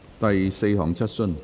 第四項質詢。